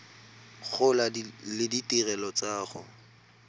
gola le ditirelo tsa go